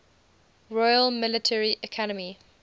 royal military academy